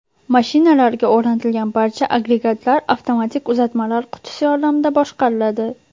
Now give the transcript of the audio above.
Mashinalarga o‘rnatilgan barcha agregatlar avtomatik uzatmalar qutisi yordamida boshqariladi.